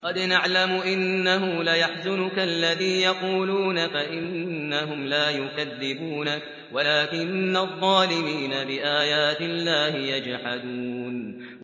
قَدْ نَعْلَمُ إِنَّهُ لَيَحْزُنُكَ الَّذِي يَقُولُونَ ۖ فَإِنَّهُمْ لَا يُكَذِّبُونَكَ وَلَٰكِنَّ الظَّالِمِينَ بِآيَاتِ اللَّهِ يَجْحَدُونَ